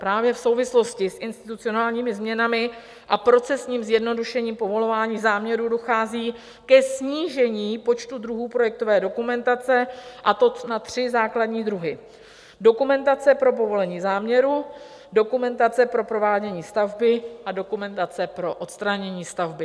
Právě v souvislosti s institucionálními změnami a procesním zjednodušením povolování záměrů dochází ke snížení počtu druhů projektové dokumentace, a to na tři základní druhy: dokumentace pro povolení záměru, dokumentace pro provádění stavby a dokumentace pro odstranění stavby.